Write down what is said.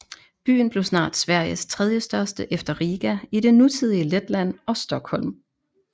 Byen blev snart Sveriges tredjestørste efter Riga i det nutidige Letland og Stockholm